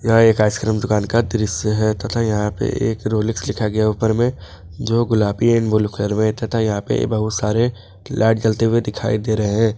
यह एक आइसक्रीम दुकान का दृश्य है तथा यहां पे एक रोलेक्स लिखा गया ऊपर में जो गुलाबी एंड ब्लू कलर में तथा यहां पर बहुत सारे लाइट जलते हुए दिखाई दे रहे हैं।